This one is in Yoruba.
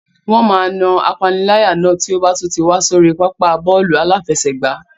Wọ́n máa na apaniláyà náà tí ó bá tún ti wá sórí pápá bọ́ọ̀lù aláfẹsẹ̀gbá.